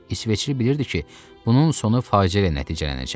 İsveçli bilirdi ki, bunun sonu faciə ilə nəticələnəcək.